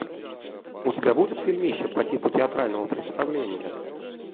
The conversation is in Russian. у тебя будет фильмище по типу театрального представления